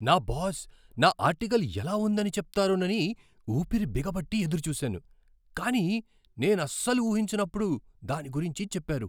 నా బాస్ నా ఆర్టికల్ ఎలా ఉందని చెప్తారోనని ఊపిరి బిగబట్టి ఎదురుచూసాను, కానీ నేనసలు ఊహించనప్పుడు దాని గురించి చెప్పారు.